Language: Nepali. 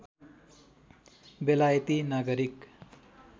बेलायती नागरिक